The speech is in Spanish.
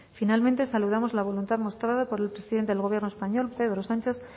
finalmente saludamos la voluntad mostrada por el presidente del gobierno español pedro sánchez